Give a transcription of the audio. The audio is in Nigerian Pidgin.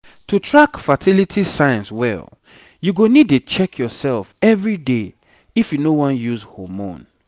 to track fertility signs well you go need dey check yourself everyday if you no wan use hormone